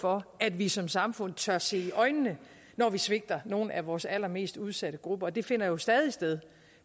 for at vi som samfund tør se det i øjnene når vi svigter nogle af vores allermest udsatte grupper og det finder jo stadig sted